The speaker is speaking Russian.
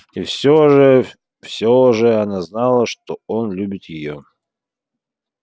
и все же все же она знала что он любит её